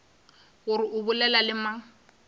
gore o bolela le mang